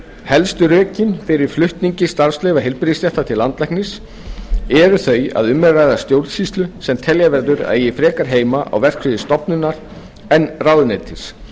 helstu rökin fyrir flutningi starfsleyfa heilbrigðisstétta til landlæknis eru þau að um er að ræða stjórnsýslu sem telja verður að eigi frekar heima á verksviði stofnunar en ráðuneytis